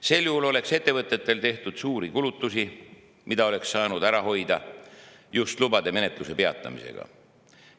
Sel juhul oleks ettevõtted juba teinud suuri kulutusi, mida oleks saanud ära hoida just nimelt lubade menetluse peatamise abil.